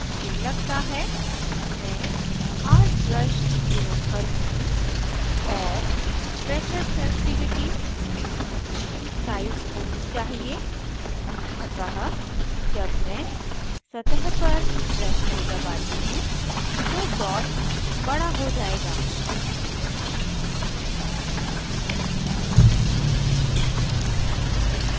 मुझे लगता है मैं hard brush प्रयोग करुँगी और pressure sensitivity size होनी चाहिए अतः जब मैं सतह पर brush को दबाती हूँ तो dot बड़ा हो जायेगा